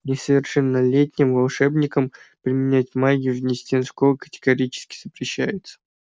несовершеннолетним волшебникам применять магию вне стен школы категорически запрещается